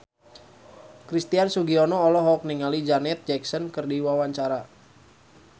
Christian Sugiono olohok ningali Janet Jackson keur diwawancara